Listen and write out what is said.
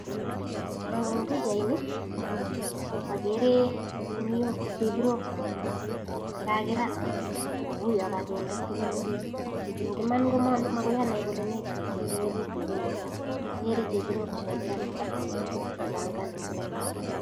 Eng pichaini agere guniok, chebirok, che kagirat ago ui kaginde tuguk orit. En iman, mangen ele kaginde ne orit, lakini agere chebirok kityo ne kagirat.